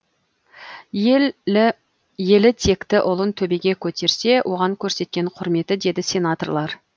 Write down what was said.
елі текті ұлын төбеге көтерсе оған көрсеткен құрметі деді сенаторлар